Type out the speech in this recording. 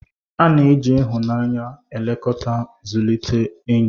A na-eji ịhụnanya na nlekọta zụlite enyi.